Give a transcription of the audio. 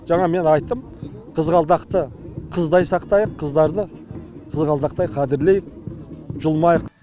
жаңа мен айттым қызғалдақты қыздай сақтайық қыздарды қызғалдақтай қадірлейік жұлмайық